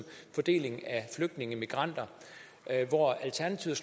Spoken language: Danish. fordelingen af flygtninge migranter hvor alternativet